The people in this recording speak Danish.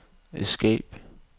escape